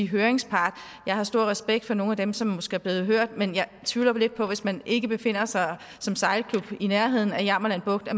høringspart jeg har stor respekt for nogle af dem som måske er blevet hørt men jeg tvivler jo lidt på at man hvis man ikke befinder sig som sejlklub i nærheden af jammerland bugt